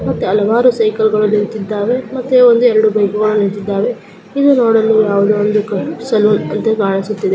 ಮತ್ತೆ ಹಲವಾರು ಸೈಕಲ್ ಗಳು ನಿಂತಿದ್ದಾವೆ ಮತ್ತೆ ಒಂದೆರಡು ಬೈಕ್ಗಳು ನಿಂತಿದ್ದಾವೆ ಇದು ನೋಡಲು ಯಾವುದೋ ಒಂದು ಸಲೂನ್ ತರ ಕಾಣಿಸುತ್ತಿದೆ.